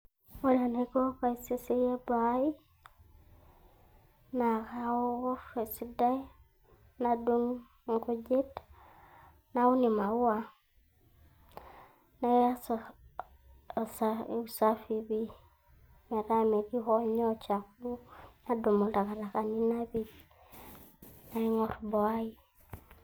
Ore enaiko paiseseyie boo ai na kaor esidai nadung inkujit naun imauwa naas esaa eusafi pii meeta metii ho nyoo chafu nadumu intakatakani napej naingorr boo ai.